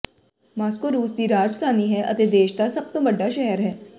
Moscow ਰੂਸ ਦੀ ਰਾਜਧਾਨੀ ਹੈ ਅਤੇ ਦੇਸ਼ ਦਾ ਸਭ ਤੋਂ ਵੱਡਾ ਸ਼ਹਿਰ ਹੈ